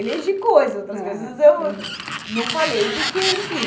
Eleger coisas, outras coisas eu não falei, porque, enfim...